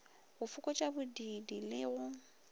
go fokotša bodiidi le go